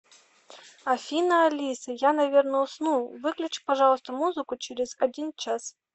афина алиса я наверное усну выключи пожалуйста музыку через один час